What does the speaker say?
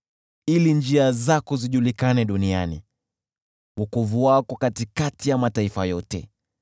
ili njia zako zijulikane duniani, wokovu wako katikati ya mataifa yote.